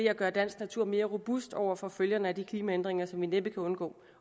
at gøre dansk natur mere robust over for følgerne af de klimaændringer som vi næppe kan undgå